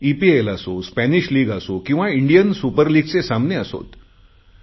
EPL असो Spanish league असो किंवा इंडियन सुपरलिगचे सामने असोत